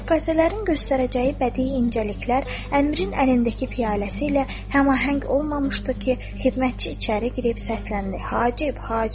Rəqqasələrin göstərəcəyi bədii incəliklər əmrin əlindəki piyaləsi ilə həmahəng olmamışdı ki, xidmətçi içəri girib səsləndi: Hacib, Hacib!